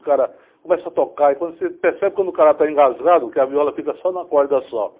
O cara começa a tocar e quando você percebe quando o cara está engasgado que a viola fica só numa corda só.